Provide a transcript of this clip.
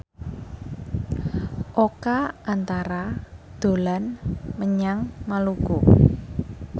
Oka Antara dolan menyang Maluku